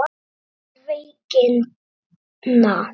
Um veikina